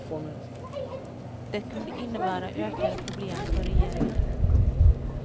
Det kunde innebära ökade problem för regeringen.